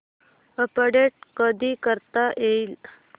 update कधी करता येईल